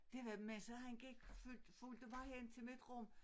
Det var med så kan følg fulgte mig hen til mit rum